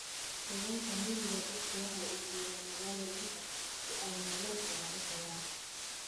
Deegaanka miyiga, dadku waxay u guuraan magaalooyinka si ay nolol fiican u helaan.